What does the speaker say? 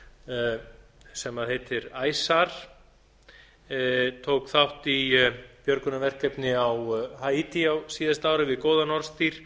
rústabjörgunarsveitin sem heitir ice sar tók þátt í björgunarverkefni á haítí á síðasta ári við góðan orðstír